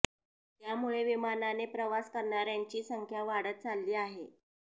त्यामुळे विमानाने प्रवास करणाऱ्यांची संख्या वाढत चालली आहे